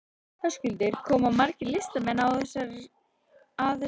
Höskuldur, koma margir listamenn að þessari sýningu?